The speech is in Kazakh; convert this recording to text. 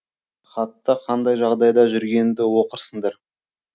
хатта қандай жағдайда жүргенімді оқырсыңдар